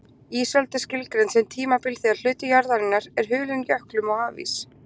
Ísöld er skilgreind sem tímabil þegar hluti jarðarinnar er hulinn jöklum og hafís.